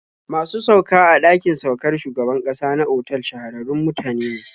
Masu sauka a ɗakin saukar shugaban ƙasa na otal shahararrun mutane ne.